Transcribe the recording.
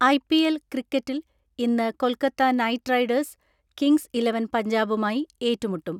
I P L ക്രിക്കറ്റിൽ ഇന്ന് Kolkata Knight Riders Kings Eleven പഞ്ചാബുമായി ഏറ്റുമുട്ടം.